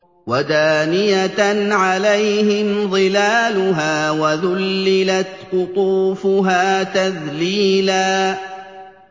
وَدَانِيَةً عَلَيْهِمْ ظِلَالُهَا وَذُلِّلَتْ قُطُوفُهَا تَذْلِيلًا